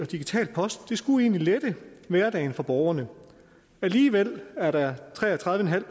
digital post skulle egentlig lette hverdagen for borgerne alligevel er der tre og tredive en halv